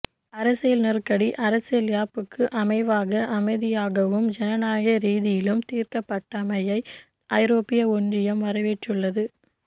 அரசியல் நெருக்கடி அரசியல் யாப்புக்கு அமைவாக அமைதியாகவும் ஜனநாயக ரீதியிலும் தீர்க்கப்ட்டமையை ஐரோப்பிய ஒன்றியம் வரவேற்றுள்ளது